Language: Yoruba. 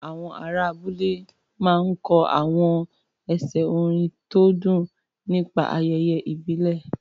Àwọn ará abúlé máa ń kọ àwọn ẹsẹ̀ orin tó dùn nígbà ayẹyẹ ìbílẹ̀.